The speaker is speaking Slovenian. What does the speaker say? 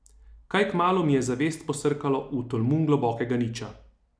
Kaj kmalu mi je zavest posrkalo v tolmun globokega niča.